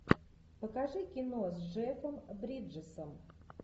покажи кино с джеффом бриджесом